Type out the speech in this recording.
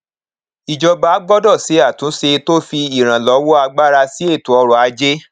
ìjọba gbọdọ ṣe àtúnṣe tó fi ìrànlọwọ agbára sí ètò ọrọ ajé